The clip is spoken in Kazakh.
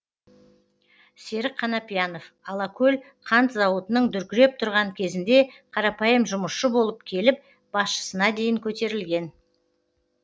серік қанапиянов алакөл қант зауытының дүркіреп тұрған кезінде қарапайым жұмысшы болып келіп басшысына дейін көтерілген